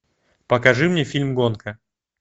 покажи мне фильм гонка